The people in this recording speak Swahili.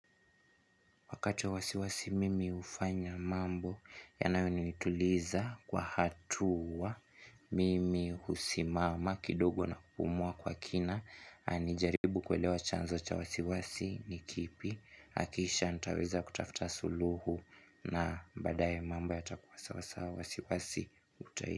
Wakati wa wasiwasi mimi hufanya mambo yanayo nituliza kwa hatuwa mimi husimama kidogo na kupumua kwa kina. Anijaribu kuelewa chanzo cha wasiwasi ni kipi. Nakisha nitaweza kutafuta suluhu na baadaye mambo yatakuwa sawa wasiwasi utahidi.